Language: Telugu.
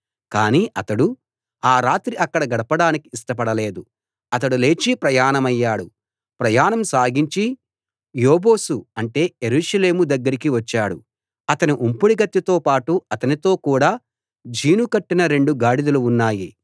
కానీ అతడు ఆ రాత్రి అక్కడ గడపడానికి ఇష్టపడలేదు అతడు లేచి ప్రయాణమయ్యాడు ప్రయాణం సాగించి యెబూసు అంటే యెరూషలేము దగ్గరికి వచ్చాడు అతని ఉంపుడుగత్తెతో పాటు అతనితో కూడా జీను కట్టిన రెండు గాడిదలూ ఉన్నాయి